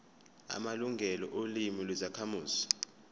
amalungelo olimi lwezakhamuzi